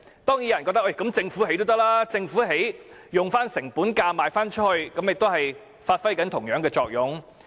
當然有人覺得政府建屋，以成本價發售，也能發揮同樣作用。